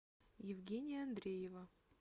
евгения андреева